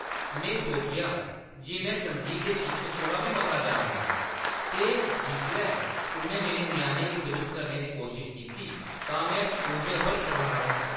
में सोचेआ जे में संगीत दे शिक्षक कोला बी मता जानना आं ते जिसलै उʼन्नै मेरे ञ्याणे गी दरुस्त करने दी कोशश कीती तां में उंʼदे उप्पर करलाया।